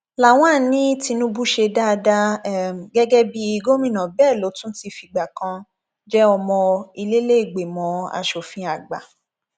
lawan ní tinubu ṣe dáadáa um gẹgẹ bíi gómìnà bẹẹ ló tún ti fìgbà kan um jẹ ọmọ ìlẹlẹgbẹmọ asòfin àgbà